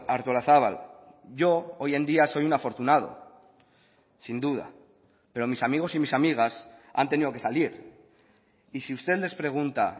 artolazabal yo hoy en día soy un afortunado sin duda pero mis amigos y mis amigas han tenido que salir y sí usted les pregunta